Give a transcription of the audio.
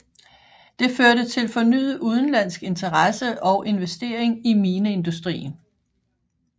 Det førte til fornyet udenlandsk interesse og investering i mineindustrien